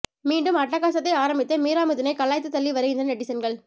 மீண்டும் அட்டகாசத்தை ஆரம்பித்த மீரா மிதுனை கலாய்த்து தள்ளி வருகின்றனர் நெட்டிசன்கள்